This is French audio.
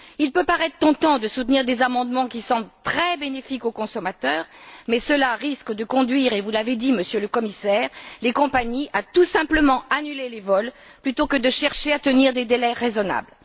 Il peut paraître tentant de soutenir des amendements qui semblent très bénéfiques aux consommateurs, mais cela risque de conduire les compagnies et vous l'avez dit, Monsieur le Commissaire à, tout simplement, annuler les vols plutôt qu'à chercher à tenir des délais raisonnables.